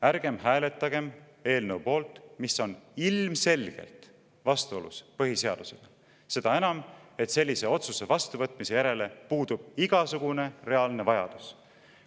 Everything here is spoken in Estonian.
Ärgem hääletagem ilmselgelt põhiseadusega vastuolus oleva eelnõu poolt, seda enam, et sellise otsuse vastuvõtmise järele puudub igasugune reaalne vajadus.